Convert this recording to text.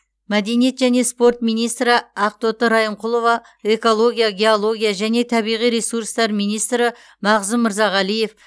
мәдениет және спорт министрі ақтоты райымқұлова экология геология және табиғи ресурстар министрі мағзұм мырзағалиев